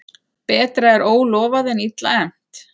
Betra er ólofað en illa efnt.